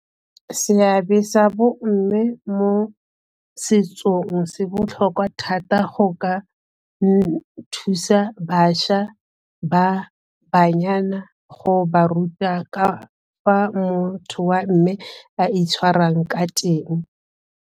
Seabe sa bomme mo setsong se botlhokwa thata go ka thusa bašwa ba banyana go ba ruta ka fa motho wa mme a itshwarang ka teng.